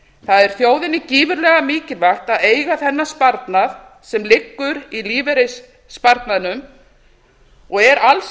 það er þjóðinni gífurlega mikilvægt að eiga þennan sparnað sem liggur í lífeyrissparnaðinum og er alls